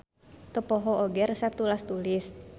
Teu poho oge resep tulas-tulis.